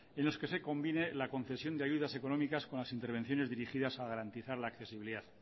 en los que se combine la concesión de ayudas económicas con las intervenciones dirigidas a garantizar la accesibilidad